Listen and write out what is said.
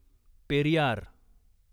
Periyar